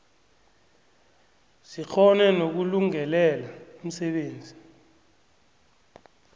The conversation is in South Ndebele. zikghone nokulungelela umsebenzi